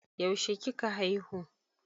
Yaushe kika haihu?